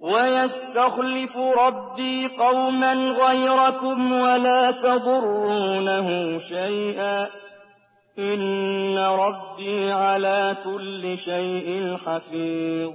وَيَسْتَخْلِفُ رَبِّي قَوْمًا غَيْرَكُمْ وَلَا تَضُرُّونَهُ شَيْئًا ۚ إِنَّ رَبِّي عَلَىٰ كُلِّ شَيْءٍ حَفِيظٌ